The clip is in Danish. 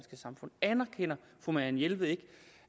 samfund anerkender fru marianne jelved ikke